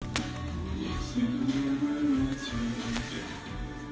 вес